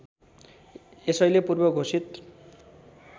यसैले पूर्व घोषित